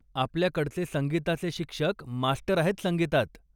आपल्याकडचे संगीताचे शिक्षक मास्टर आहेत संगीतात.